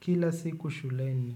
kila siku shuleni.